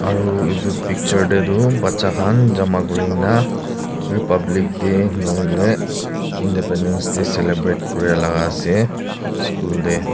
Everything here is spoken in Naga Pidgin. Aro etu picture tetu baja khan jama kure kena republic day nahoi le Independence Day celebrate kurea la ase school tey.